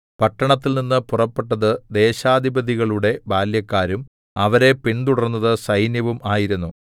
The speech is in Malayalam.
പട്ടണത്തിൽനിന്ന് പുറപ്പെട്ടത് ദേശാധിപതികളുടെ ബാല്യക്കാരും അവരെ പിൻതുടർന്നത് സൈന്യവും ആയിരുന്നു